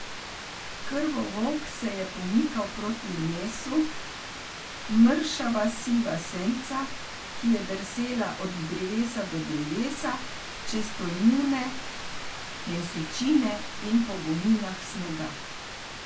Krvovolk se je pomikal proti mesu, mršava siva senca, ki je drsela od drevesa do drevesa, čez tolmune mesečine in po gomilah snega.